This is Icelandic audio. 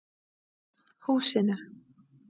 Húsinu